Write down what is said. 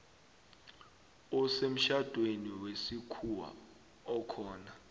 osemtjhadweni wesikhuwa okhona